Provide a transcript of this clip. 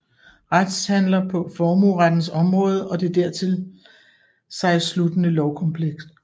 Retshandler paa Formuerettens Omraade og det dertil sig sluttende Lovkompleks